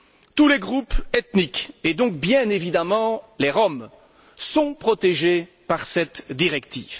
Tous les groupes ethniques, et donc bien évidemment les Roms, sont protégés par cette directive.